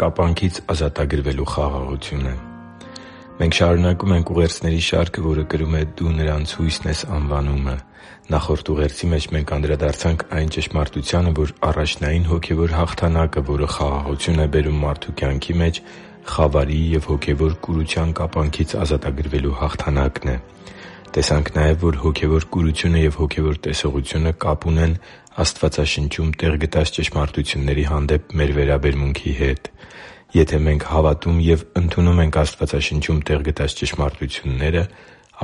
կապանքից ազատագրվելու խաղաղությունը Մենք շարունակում ենք ուղերձների շարքը, որը կրում է «Դու նրանց հույսն ես․․․»անվանումը։ Նախորդ ուղերձի մեջ մենք անդրադարձանք այն ճշմարտությանը, որ առաջնային հոգևոր հաղթանակը, որը խաղաղություն է բերում մարդու կյանքի մեջ, խավարի և հոգևոր կուրության կապանքից ազատագրվելու հաղթանակն է։ Տեսանք նաև, որ հոգևոր կուրությունը և հոգևոր տեսողությունը կապ ունեն Աստվածաշնչում տեղ գտած ճշմարտությունների հանդեպ մեր վերաբերմունքի հետ։ Եթե մենք հավատում ենք և ընդունում Աստվածաշնչում տեղ գտած ճշմարտությունները,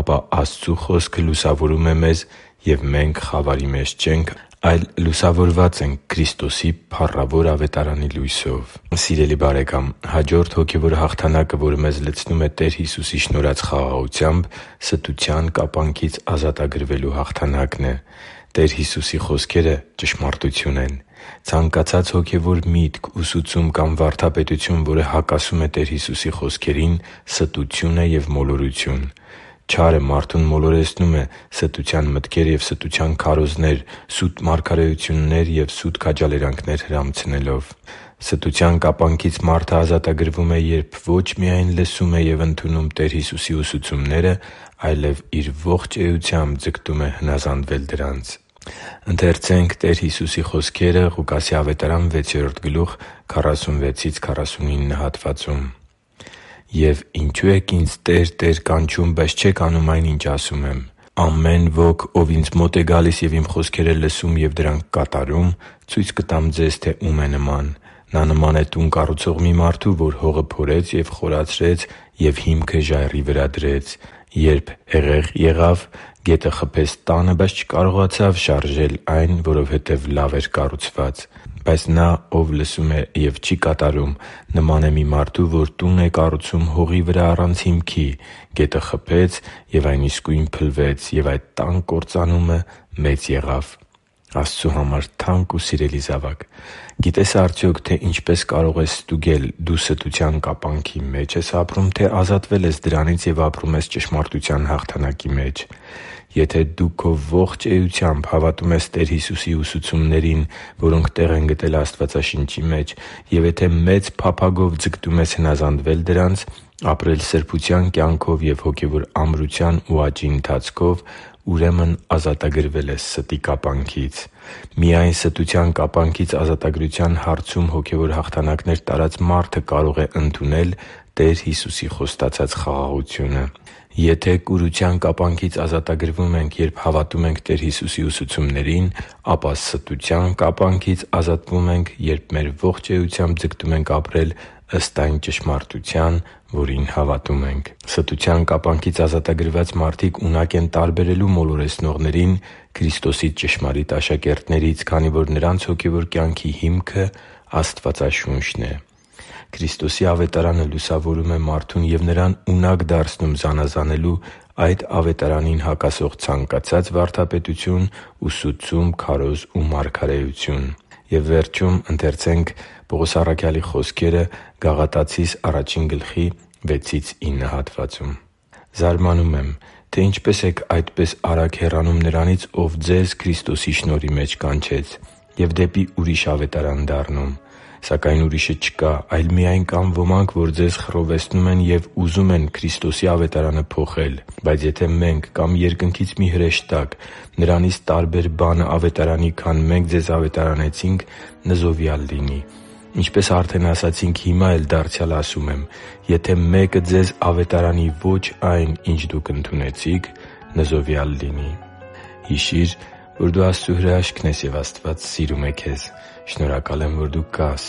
ապա Աստծու Խոսքը լուսավորում է մեզ, և մենք խավարի մեջ չենք, այլ լուսավորված ենք Քրիստոսի փառավոր Ավետարանի լույսով։ Սիրելի՛ բարեկամ, հաջորդ հոգևոր հաղթանակը, որը մեզ լցնում է Տեր Հիսուսի շնորհած խաղաղությամբ, ստության կապանքից ազատագրվելու հաղթանակն է։ Տեր Հիսուսի խոսքերը ճշմարտություն են։ Ցանկացած հոգևոր միտք, ուսուցում կամ վարդապետություն, որը հակասում է Տեր Հիսուսի խոսքերին, ստություն է և մոլորություն։ Չարը մարդուն մոլորեցնում է՝ ստության մտքեր և ստության քարոզներ, սուտ մարգարեութուններ և սուտ քաջալերանքներ հրամցնելով։ Ստության կապանքից մարդը ազատագրվում է, երբ ո՛չ միայն լսում և ընդունում է Տեր Հիսուսի ուսուցումները, այլև իր ողջ էությամբ ձգտում է հնազանդվել դրանց։ «Եվ ինչո՞ւ եք Ինձ "Տե՛ր, Տե՛ր" կանչում, բայց չեք անում այն, ինչ ասում եմ։ Ամեն ոք, ով Ինձ մոտ է գալիս ու Իմ խոսքերը լսում և դրանք կատարում, ցույց կտամ ձեզ, թե ո՛ւմ է նման։ Նման է տուն կառուցող մի մարդու, որ հողը փորեց ու խորացրեց և հիմքը ժայռի վրա դրեց։ Երբ հեղեղ եղավ, գետը խփեց տանը, բայց չկարողացավ շարժել այն, որովհետև լավ էր կառուցված։ Բայց նա, ով լսում է և չի կատարում, նման է մի մարդու, որ տուն է կառուցում հողի վրա առանց հիմքի. գետը խփեց, և այն իսկույն փլվեց, և այդ տան կործանումը մեծ եղավ» (Ղուկաս 6.46-49): Աստծու համար թանկ ու սիրելի՛ զավակ, գիտե՞ս արդյոք, թե ինչպե՛ս կարող ես ստուգել՝ դու ստության կապանքի մե՞ջ ես ապրում, թե՞ ազատվել ես դրանից և ապրում ես ճշմարտության հաղթանակի մեջ։ Եթե դու քո ողջ էությամբ հավատում ես Տեր Հիսուսի ուսուցումներին, որոնք տեղ են գտել Աստվածաշնչի մեջ, և եթե մեծ փափագով ձգտում ես հնազանդվել դրանց, ապրել սրբության կյանքով ու հոգևոր ամրության ու աճի ընթացքով, ուրեմն ազատագրվել ես ստի կապանքից։ Միայն ստության կապանքից ազատագրության հարցում հոգևոր հաղթանակներ տարած մարդը կարող է ընդունել Տեր Հիսուսի խոստացած խաղաղությունը։ Եթե կուրության կապանքից ազատագրվում ենք, երբ հավատում ենք Տեր Հիսուսի ուսուցումներին, ապա ստության կապանքից ազատվում ենք, երբ մեր ողջ էությամբ ձգտում ենք ապրել ըստ այն ճշմարտության, որին հավատում ենք։ Ստության կապանքից ազատագրված մարդիկ ունակ են տարբերելու մոլորեցնողներին Քրիստոսի ճշմարիտ աշակերտներից, քանի որ նրանց հոգևոր կյանքի հիմքը Աստվածաշունչն է։ Քրիստոսի Ավետարանը լուսավորում է մարդուն և նրան ունակ դարձնում զանազանելու այդ Ավետարանին հակասող ցանկացած վարդապետություն, ուսուցում, քարոզ ու մարգարեություն։ «Զարմանում եմ, թե ինչպես եք այդպես արագ հեռանում նրանից, ով ձեզ Քրիստոսի շնորհի մեջ կանչեց, և դեպի ուրիշ ավետարան դառնում։ Սակայն ուրիշը չկա, այլ միայն կան ոմանք, որ ձեզ խռովեցնում են և ուզում են Քրիստոսի Ավետարանը փոխել։ Բայց եթե մենք կամ երկնքից մի հրեշտակ նրանից տարբեր բան ավետարանի, քան մենք ձեզ ավետարանեցինք, նզովյալ լինի։ Ինչպես արդեն ասացինք, հիմա էլ դարձյալ ասում եմ. «Եթե մեկը ձեզ ավետարանի ոչ այն, ինչ դուք ընդունեցիք, նզովյալ լինի» (Գաղատացիներին 1.6-9): Հիշի՛ր, որ դու Աստծո հրաշքն ես, և Աստված սիրում է քեզ։ Շնորհակալ եմ, որ դու կա՛ս